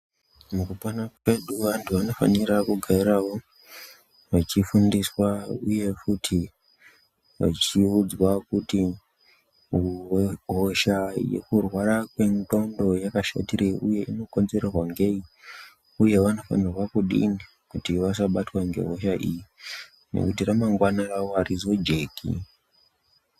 Mukupona kwedu antu anofanira kugaravo achifundiswa, uye futi achiudzwa kuti hosha yekurwara kwendondo yakashatirei, uye inokonzerwa ndei, uye vanofanirwa kudini kuti vasabatwa ngehosha iyi nekuti ramangwana ravo harizojeki.